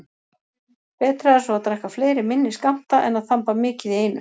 Betra er svo að drekka fleiri minni skammta en að þamba mikið í einu.